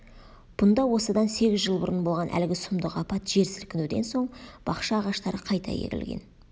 бұнда осыдан сегіз жыл бұрын болған әлгі сұмдық апат жер сілкінуден соң бақша ағаштары қайта егілген